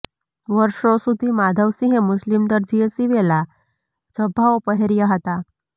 વર્ષો સુધી માધવસિંહે મુસ્લિમ દરજીએ સિવેલા ઝભ્ભાઓ પહેર્યા હતા